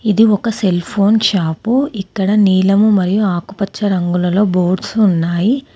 ఇది ఒక cell phone shop ఇక్కడ నీలము మరియు ఆకుపచ్చ రంగులలో బోర్డ్స్ ఉన్నాయి.